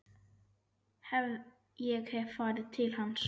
Ég hef farið til hans.